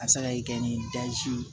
A bɛ se ka kɛ ni ye